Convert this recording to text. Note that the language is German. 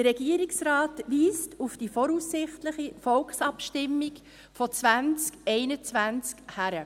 Der Regierungsrat weist auf die voraussichtliche Volksabstimmung von 2021 hin.